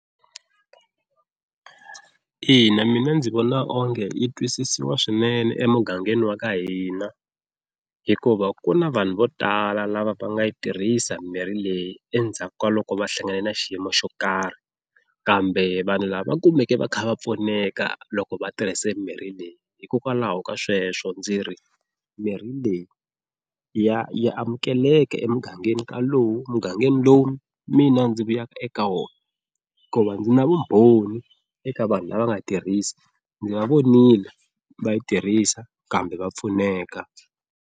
Ina mina ndzi vona onge yi twisisiwa swinene emugangeni wa ka hina hikuva ku na vanhu vo tala lava va nga yi tirhisa mirhi leyi endzhaku ka loko va hlangane na xiyimo xo karhi, kambe vanhu lava kumeke va kha va pfuneka loko va tirhise mimirhi leyi hikokwalaho ka sweswo ndzi ri mirhi leyi ya ya amukeleka emugangeni ka lowu mugangeni lowu mina ndzi vuyaka eka wona, hikuva ndzi na vumbhoni eka vanhu lava nga yi tirhisa ndzi va vonile va yi tirhisa kambe va pfuneka.